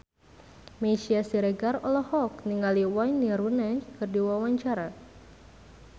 Meisya Siregar olohok ningali Wayne Rooney keur diwawancara